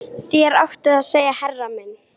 Þér áttuð að segja herra minn